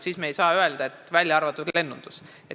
Me ei saa öelda, et välja arvatud lennundus.